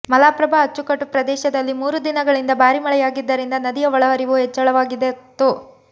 ಮಲಪ್ರಭಾ ಅಚ್ಚುಕಟ್ಟು ಪ್ರದೇಶದಲ್ಲಿ ಮೂರು ದಿನಗಳಿಂದ ಭಾರೀ ಮಳೆಯಾಗಿದ್ದರಿಂದ ನದಿಯ ಒಳಹರಿವು ಹೆಚ್ಚಳವಾಗಿತ್ತು